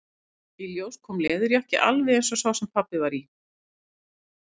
Í ljós kom leðurjakki, alveg eins og sá sem pabbi var í.